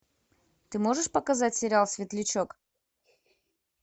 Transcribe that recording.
ты можешь показать сериал светлячок